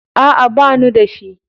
A'a, banu da shi.